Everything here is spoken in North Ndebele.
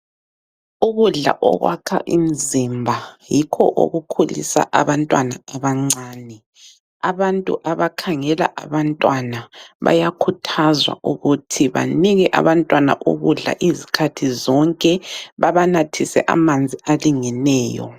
Ukudla okwakha imizimba yikho okukhulisa abantwana abancane. Abantu abakhangela abantwana bayakhuthazwa ukuthi banike abantwana ukudla izikhathi zonke babanathise amanzi alingeneyo.